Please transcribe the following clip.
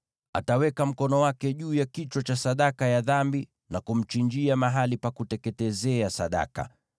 Ataweka mkono wake juu ya kichwa cha sadaka ya dhambi na kumchinjia mahali pa kuteketezea sadaka.